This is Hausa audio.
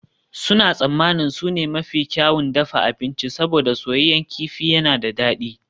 Suna tsammanin su ne mafi kyawun dafa abinci saboda soyayyen kifi yana da dadi